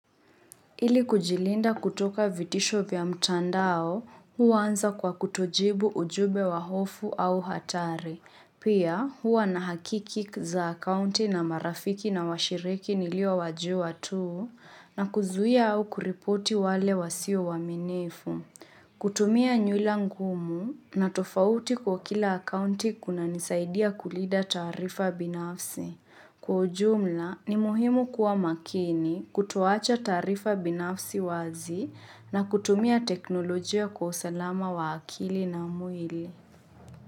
Ili kujilinda kutoka vitisho vya mtandao, huanza kwa kutojibu ujumbe wa hofu au hatari. Pia, huwa na hakiki za akaunti na marafiki na washiriki niliowajua tu, na kuzuia au kuripoti wale wasio waaminifu. Kutumia nywila ngumu na tofauti kwa kila akaunti kunanisaidia kulinda taarifa binafsi. Kwa ujumla ni muhimu kuwa makini kutoacha taarifa binafsi wazi na kutumia teknolojia kwa usalama wa akili na mwili.